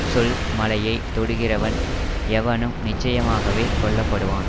சொல் மலையைத் தொடுகிறவன் எவனும் நிச்சயமாகவே கொல்லப்படுவான்